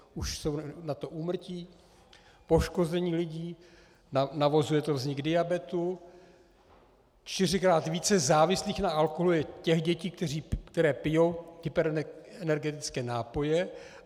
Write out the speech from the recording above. Už jsou na to úmrtí, poškození lidí, navozuje to vznik diabetu, čtyřikrát více závislých na alkoholu je těch dětí, které pijí hyperenergetické nápoje.